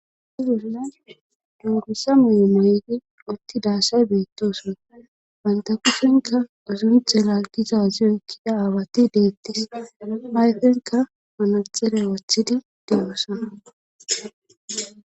di bolla dungussa muy7e meygi utti daassay beettosona bantakushenka uzumithe lalgiza aziyoykkida aawati deettis ayfenka manatxere wathidi deyosa